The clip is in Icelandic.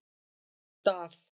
Dal